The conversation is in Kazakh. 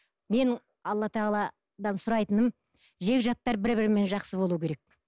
менің алла тағаладан сұрайтыным жекжаттар бір бірімен жақсы болуы керек